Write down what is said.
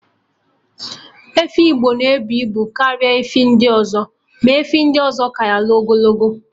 Efi Igbo na-ebu ibu karịa efi ndị ọzọ, ma efi ndị ọzọ ka ya n'ogologo